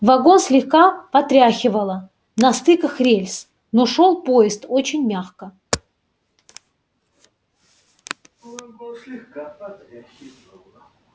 вагон слегка потряхивало на стыках рельс но шёл поезд очень мягко